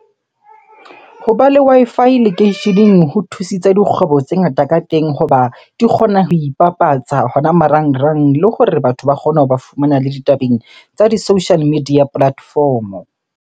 Hoba le Wi-Fi lekeisheneng ho thusitse dikgwebo tse ngata ka teng hoba di kgona ho ipapatsa hona marangrang. Le hore batho ba kgone hoba fumana le ditabeng tsa di-social media platform-o.